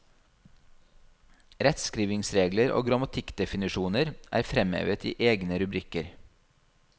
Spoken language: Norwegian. Rettskrivningsregler og grammatikkdefinisjoner er fremhevet i egne rubrikker.